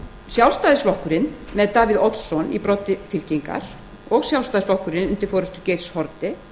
sjálfstæðisflokkurinn með davíð oddsson í broddi fylkingar og sjálfstæðisflokkurinn undir forustu geirs h haarde